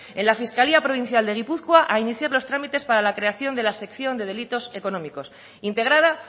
en la fiscalía provincial de gipuzkoa a iniciar los trámites para la creación de la sección de delitos económicos integrada